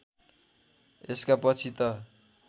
यसका पछि त